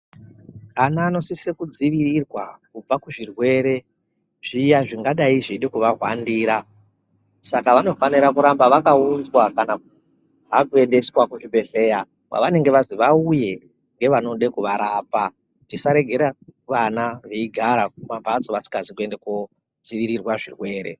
Ana anosisa kudzivirirwa kubva kuzvirwere zviya zvingadai zveida kuvahwandira saka vanofana kuramba vakaunzwa kana kuendeswa kuzvibhehlera kwavanenge vazi vauye nevanode kuvarapa. Tisaregera vana veigara kumambatso vasina kunozivirirwa zvirwere.